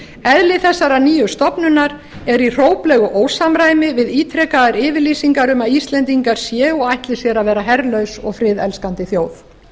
eðli þessarar nýju stofnunar er í hróplegu ósamræmi við ítrekaðar yfirlýsingar um að íslendingar séu og ætli sér að vera herlaus og friðelskandi þjóð